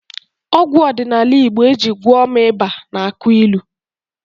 Ọgwụ ọdịnala Igbo e ji gwọọ m ịba na-akụ ilu